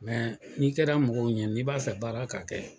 Mɛ n'i kɛra mɔgɔw ɲɛ n'i b'a fɛ baara ka kɛ